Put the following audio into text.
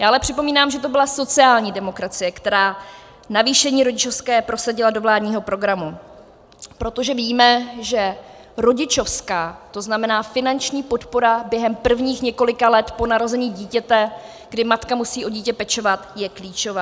Já ale připomínám, že to byla sociální demokracie, která navýšení rodičovské prosadila do vládního programu, protože víme, že rodičovská, to znamená, finanční podpora během prvních několika let po narození dítěte, kdy matka musí o dítě pečovat, je klíčová.